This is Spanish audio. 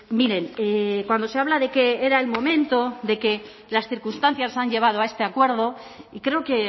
miren cuando se habla de que era el momento de que las circunstancias han llevado a este acuerdo y creo que